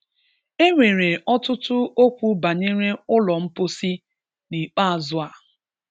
E nwere ọtụtụ okwu banyere ụlọ mposi n'ikpeazụ a.